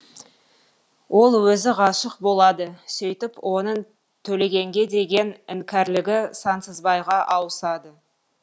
ол өзі ғашық болады сөйтіп оның төлегенге деген іңкәрлігі сансызбайға ауысады